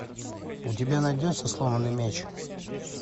у тебя найдется сломанный меч